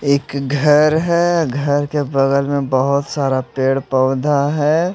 एक घर है घर के बगल में बहोत सारा पेड़ पौधा है।